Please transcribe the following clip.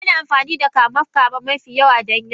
Ana amfani da kame-kame mafi yawa don yaƙi.